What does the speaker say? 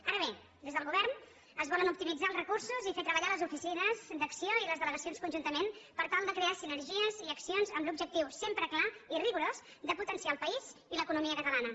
ara bé des del govern es volen optimitzar els recursos i fer treballar les oficines d’acc1ó i les delegacions conjuntament per tal de crear sinergies i accions amb l’objectiu sempre clar i rigorós de potenciar el país i l’economia catalana